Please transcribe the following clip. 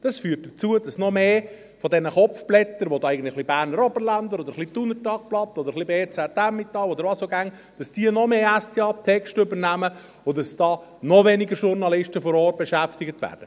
Es führt dazu, dass noch mehr von diesen Kopfblättern – ein wenig «Berner Oberländer», ein bisschen «Thuner Tagblatt» oder ein wenig «BZ Emmental» oder was auch immer – noch mehr SDA-Texte übernehmen und dass noch weniger Journalisten vor Ort beschäftigt werden.